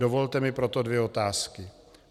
Dovolte mi proto dvě otázky.